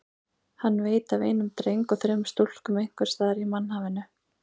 Hann veit af einum dreng og þremur stúlkum einhvers staðar í mannhafinu.